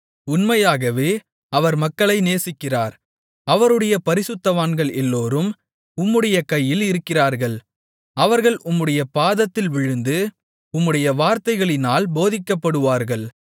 உண்மையாகவே அவர் மக்களை நேசிக்கிறார் அவருடைய பரிசுத்தவான்கள் எல்லோரும் உம்முடைய கையில் இருக்கிறார்கள் அவர்கள் உம்முடைய பாதத்தில் விழுந்து உம்முடைய வார்த்தைகளினால் போதிக்கப்படுவார்கள்